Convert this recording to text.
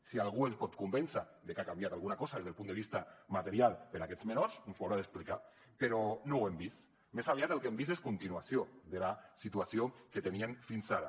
si algú ens pot convèncer de que ha canviat alguna cosa des del punt de vista material per a aquests menors ens ho haurà d’explicar però no ho hem vist més aviat el que hem vist és continuació de la situació que tenien fins ara